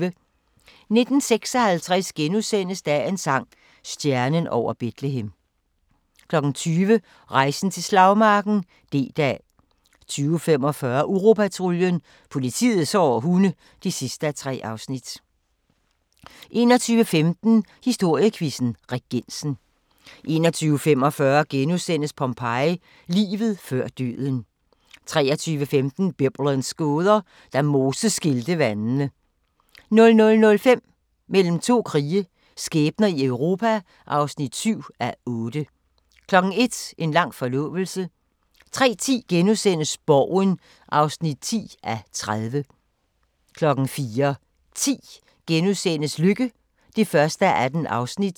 19:56: Dagens sang: Stjernen over Betlehem * 20:00: Rejsen til slagmarken: D-dag 20:45: Uropatruljen – politiets hårde hunde (3:3) 21:15: Historiequizzen: Regensen 21:45: Pompeii – Livet før døden * 23:15: Biblens gåder – Da Moses skilte vandene 00:05: Mellem to krige – skæbner i Europa (7:8) 01:00: En lang forlovelse 03:10: Borgen (10:30)* 04:10: Lykke (1:18)*